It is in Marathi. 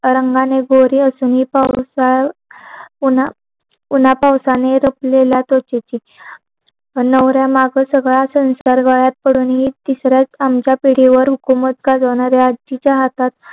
रंगाने गोरी असून हि उन्हा पाऊसाने रुपलेल्या होच ती नवऱ्या मागच्या सगळ्या संसारात पडून मी तिसऱ्या आमच्या पिढीवर हुकूमत करवणाऱ्या आजीचा हातात